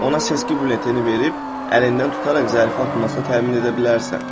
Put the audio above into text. Ona seçki bülletini verib, əlindən tutaraq zərfi atmasını təmin edə bilərsən.